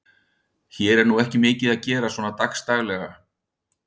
Hér er nú ekki mikið að gera svona dagsdaglega.